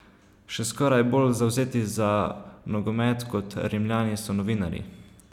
Še skoraj bolj zavzeti za nogomet kot Rimljani so novinarji.